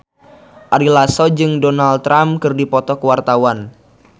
Ari Lasso jeung Donald Trump keur dipoto ku wartawan